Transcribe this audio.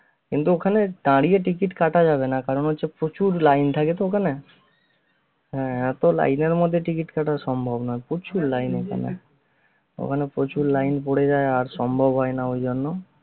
কিন্তু ওখানে দাঁড়িয়ে ticket কাটা যাবে না কারণ হচ্ছে প্রচুর line থাকে তো ওখানে হ্যা এতো line এর ভিতরে ticket কাটা সম্ভব না প্রচুর ওখানে প্রচুর line পরে যায় আর সম্ভব হয় না ঐজন্য